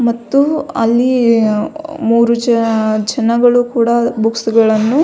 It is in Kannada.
ಮತ್ತು ಅಲ್ಲಿ ಮೂರು ಜನ ಜನಗಳು ಕೂಡ ಬುಕ್ಕ್ಸ್ ಗಳನ್ನು --